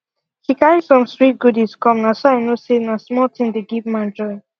she carry some swir goodies come na so i know say na small thing dey give man joy